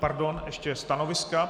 Pardon, ještě stanoviska.